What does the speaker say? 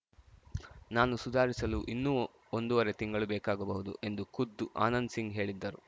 ನಾನು ಸುಧಾರಿಸಲು ಇನ್ನೂ ಒಂದೂವರೆ ತಿಂಗಳು ಬೇಕಾಗಬಹುದು ಎಂದು ಖುದ್ದು ಆನಂದ್‌ಸಿಂಗ್‌ ಹೇಳಿದ್ದರು